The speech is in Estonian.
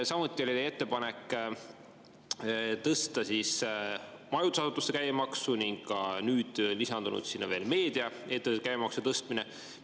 Samuti oli teie ettepanek tõsta majutusasutuste käibemaksu ning nüüd on sinna lisandunud veel meediaettevõtete käibemaksu tõstmine.